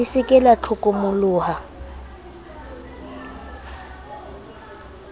le se ke la hlokomoloha